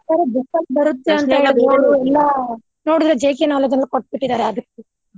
ಖರೆ book ಲ್ಲಿ ಬರುತ್ತೆ ಅಂತಾ ಇಲ್ಲಾ ನೋಡಿದ್ರೆ JK knowledge ಅಲ್ಲೆ ಕೊಟ್ಟ್ ಬಿಟ್ಟಿದಾರೆ ಆದಷ್ಟು.